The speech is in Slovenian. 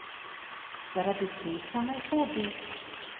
Zaradi česa naj hodi?